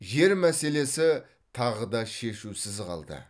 жер мәселесі тағы да шешусіз қалды